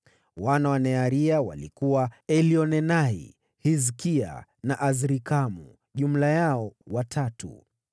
Wana wa Nearia walikuwa: Elioenai, Hizkia na Azrikamu; jumla yao watatu.